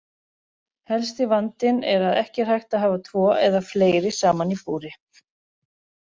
Helsti vandinn er að ekki er hægt að hafa tvo eða fleiri saman í búri.